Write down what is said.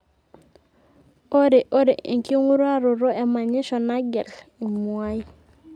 ore ore enking'uraroto e manyisho nagel imuai